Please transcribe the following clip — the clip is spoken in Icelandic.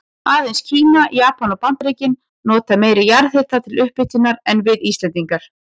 Aðeins Kína, Japan og Bandaríkin nota meiri jarðhita til upphitunar en við Íslendingar.